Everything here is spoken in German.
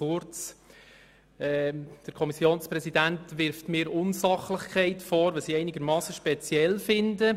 Der Kommissionspräsident wirft mir Unsachlichkeit vor, was ich ziemlich speziell finde.